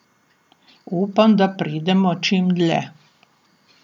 Upam, da pridemo čim dlje.